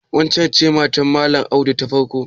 Waccen ce matar Malam Audu ta farko?